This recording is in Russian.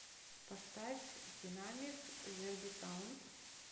поставь динамик зербисаунд